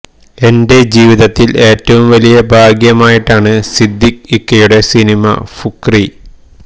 എന്റെ ജീവിതത്തിൽ ഏറ്റവും വലിയ ഭാഗ്യമായിട്ടാണ് സിദ്ദിഖ് ഇക്കയുടെ സിനിമ ഫുക്രി